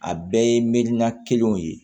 A bɛɛ ye milina kelenw ye